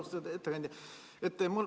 Austatud ettekandja!